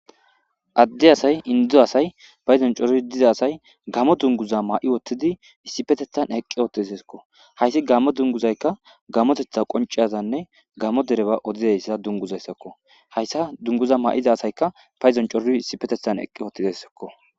Adde asay induzo asay payzon coro diza asay gammo dunguza maa'i wottidi issipetethan eqqi oottesekko hayssi gammo dunguzaykka gamotetha qonciyazanne gamo dereba odizayssa dunguzayssakko hayssa dunguza maa7iza asayka payzon coroi issipetethan eqqi wottidassakko.